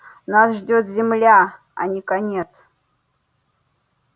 нас ждёт земля а не конец